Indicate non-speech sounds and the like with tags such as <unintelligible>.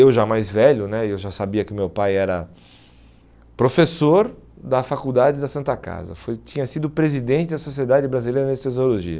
Eu já mais velho né, eu já sabia que o meu pai era professor da faculdade da Santa Casa, foi tinha sido presidente da Sociedade Brasileira de. <unintelligible>